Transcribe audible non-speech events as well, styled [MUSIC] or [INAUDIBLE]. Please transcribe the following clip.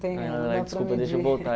[UNINTELLIGIBLE] Desculpa, deixa eu voltar.